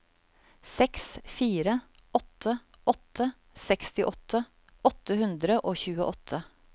seks fire åtte åtte sekstiåtte åtte hundre og tjueåtte